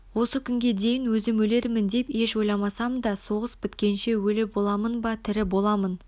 осы күнге дейін өзім өлермін деп еш ойламасам да соғыс біткенше өлі боламын ба тірі боламын